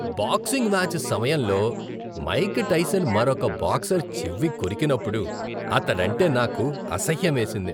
Boxing match సమయంలో Mike Tyson మరొక boxer చెవి కొరికినప్పుడు అతడంటే నాకు అసహ్యమేసింది.